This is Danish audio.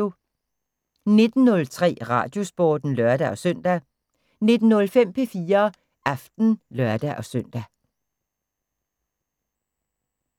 19:03: Radiosporten (lør-søn) 19:05: P4 Aften (lør-søn)